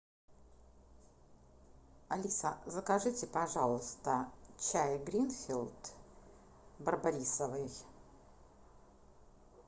алиса закажите пожалуйста чай гринфилд барбарисовый